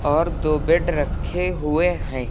और दो बेड रखे हुए हैं।